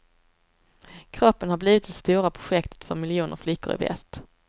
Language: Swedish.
Kroppen har blivit det stora projektet för miljoner flickor i väst.